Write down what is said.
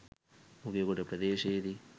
Nugegoda ප්‍රදේශයේදී